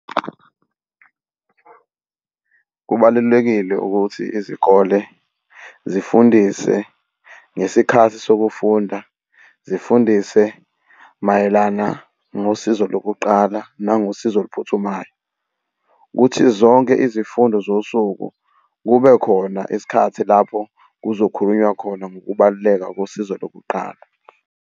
Kubalulekile ukuthi izikole zifundise ngesikhathi sokufunda zifundise mayelana ngosizo lokuqala nangosizo oluphuthumayo, ukuthi zonke izifundo zosuku kube khona isikhathi lapho kuzokhulunywa khona ngokubaluleka kosizo lokuqala.